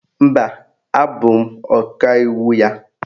Mba, abụ m Ọkaiwu ya